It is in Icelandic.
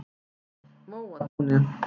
Móatúni